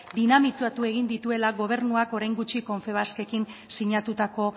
dinamitatu egin dituela gobernuak orain gutxi confebaskekin sinatutako